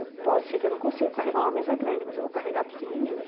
Eu posso, sei que eu não consigo carregar uma mesa grande, mas eu vou carregar a pequenininha.